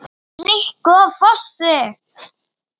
Rikku á Fossi!